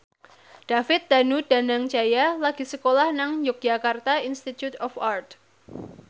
David Danu Danangjaya lagi sekolah nang Yogyakarta Institute of Art